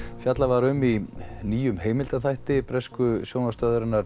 fjallað var um í nýjum heimildaþætti bresku sjónvarpsstöðvarinnar